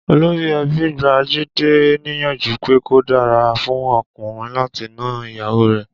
Olórí e̩bí gba Jídé níyànjú pé kò dàra fún o̩kùnrin láti na ìyàwó rè̩